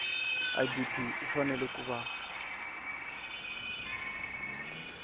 idp u fanele ku va